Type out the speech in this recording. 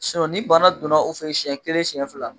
ni bana donna u fɛ yen siɲɛ kelen siɲɛ fila.